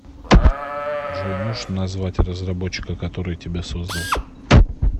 джой можешь назвать разработчика который тебя создал